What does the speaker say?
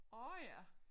Åh ja